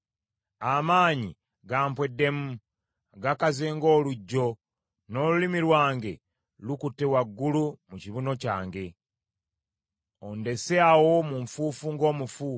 Amaanyi gampweddemu, gakaze ng’oluggyo; n’olulimi lwange lukutte waggulu mu kibuno kyange. Ondese awo mu nfuufu ng’omufu.